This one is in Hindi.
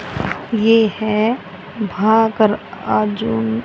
ये है भा कर अर्जुन--